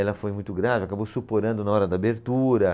Ela foi muito grave, acabou suporando na hora da abertura.